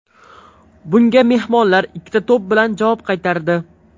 Bunga mehmonlar ikkita to‘p bilan javob qaytardi.